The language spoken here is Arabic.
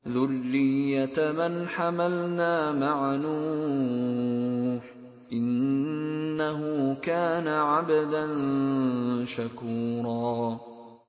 ذُرِّيَّةَ مَنْ حَمَلْنَا مَعَ نُوحٍ ۚ إِنَّهُ كَانَ عَبْدًا شَكُورًا